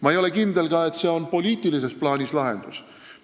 Ma ei ole kindel, et see on ka poliitilises plaanis lahendus.